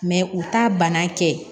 u t'a bana kɛ